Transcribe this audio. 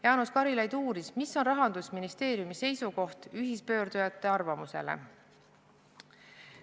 Jaanus Karilaid uuris, mis on Rahandusministeeriumi seisukoht ühispöördujate arvamuse suhtes.